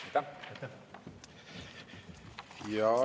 Aitäh!